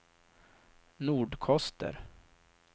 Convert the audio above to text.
Nordkoster